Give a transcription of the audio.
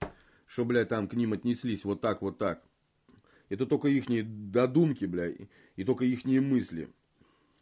что блять там к ним отнеслись вот так вот так это только их не до думки блять и только ихние мысли